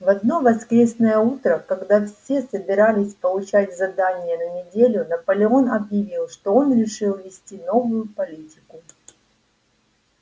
в одно воскресное утро когда все собирались получать задания на неделю наполеон объявил что он решил ввести новую политику